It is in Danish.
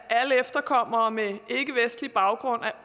af alle efterkommere med ikkevestlig baggrund er